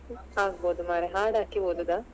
ಆಗಬೋದು ಮಾರೆ ಹಾಡ್ ಹಾಕಿ ಓದುದಾ.